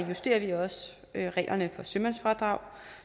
justerer vi også reglerne for sømandsfradrag